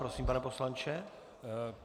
Prosím, pane poslanče.